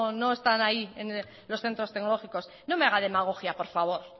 no están ahí los centros tecnológicos no me haga demagogia